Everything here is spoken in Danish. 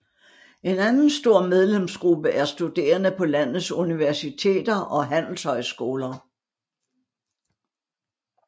En anden stor medlemsgruppe er studerende på landets universiteter og handelshøjskoler